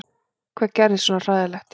Hvað gerðist svona hræðilegt?